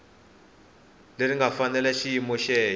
leri nga fanela xiyimo xexo